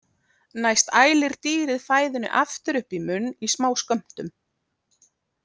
Næst ælir dýrið fæðunni aftur upp munn í smá skömmtum.